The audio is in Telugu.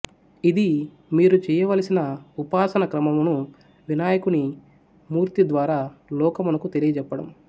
ఇది మీరు చెయ్యవలసిన ఉపాసనా క్రమమును వినాయకుని మూర్తి ద్వారా లోకమునకు తెలియజెప్పడం